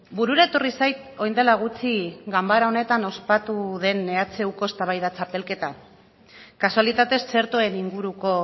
burura etorri zait orain dela gutxi ganbara honetan ospatu den ehuko eztabaida txapelketa kasualitatez txertoen inguruko